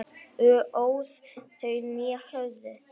óð þau né höfðu